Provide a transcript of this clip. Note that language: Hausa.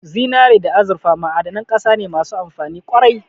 Zinare da azurfa ma'adanan ƙasa ne masu amfani ƙwarai